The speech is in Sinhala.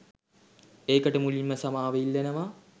ඒකට මුලින්ම සමාව ඉල්ලනවා